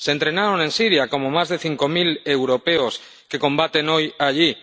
Se entrenaron en Siria, como más de cinco mil europeos que combaten hoy allí.